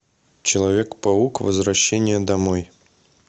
человек паук возвращение домой